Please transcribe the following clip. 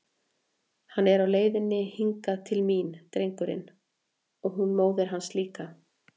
Hann er á leiðinni hingað til mín, drengurinn, og hún móðir hans líka!